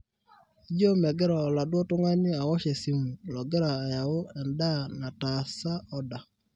ijio megira oladuo tungani awosh esimu logira ayau endaa nataasa oda